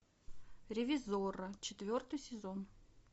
ревизорро четвертый сезон